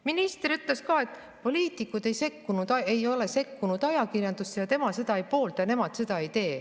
Minister ütles ka seda, et poliitikud ei ole sekkunud ajakirjandusse ja tema seda ei poolda ja nemad seda ka ei tee.